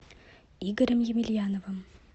игорем емельяновым